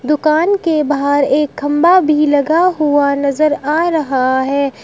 दुकान के बाहर एक खंभा भी लगा हुआ नजर आ रहा है।